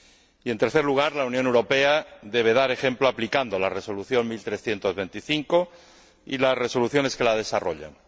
Y en tercer lugar, la Unión Europea deberá dar ejemplo aplicando la Resolución 1325 y las resoluciones que la desarrollan.